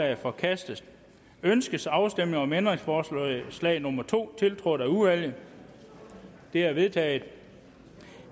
er forkastet ønskes afstemning om ændringsforslag nummer to tiltrådt af udvalget det er vedtaget